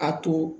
A to